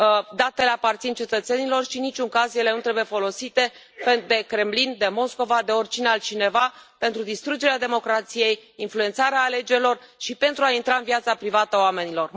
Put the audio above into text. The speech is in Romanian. Datele aparțin cetățenilor și în niciun caz ele nu trebuie folosite de Kremlin, de Moscova, de oricine altcineva, pentru distrugerea democrației, influențarea alegerilor și pentru a intra în viața privată a oamenilor.